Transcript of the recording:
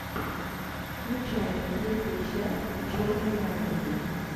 включай третья часть черные комедии